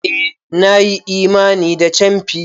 Eh! Na yi imani da camfi.